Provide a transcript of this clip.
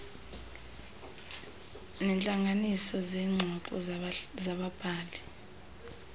neentlanganiso zeengxoxo zababhali